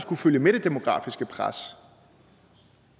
kunne følge med det demografiske pres